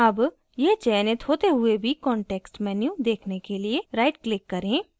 अब यह चयनित होते हुए भी context menu देखने के लिए rightclick करें